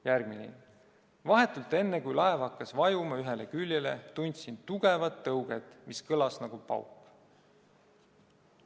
" Järgmine: "Vahetult enne, kui laev hakkas vajuma ühele küljele, tundsin tugevat tõuget, mis kõlas nagu pauk.